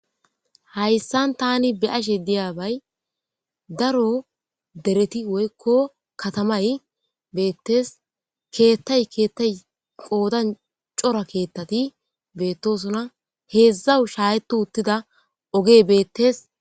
Hayissan tani be ashe diyabay daro dereti woykko katamay beettes keettay keettay qoodan cora keettati beettosona heezawu shayetu uttida oge beettees